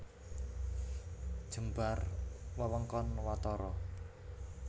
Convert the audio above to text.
Jembar wewengkon watara